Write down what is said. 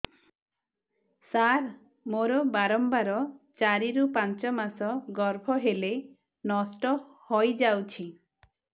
ସାର ମୋର ବାରମ୍ବାର ଚାରି ରୁ ପାଞ୍ଚ ମାସ ଗର୍ଭ ହେଲେ ନଷ୍ଟ ହଇଯାଉଛି